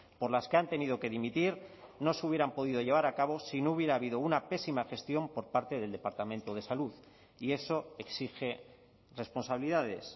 por las que han tenido que dimitir no se hubieran podido llevar a cabo si no hubiera habido una pésima gestión por parte del departamento de salud y eso exige responsabilidades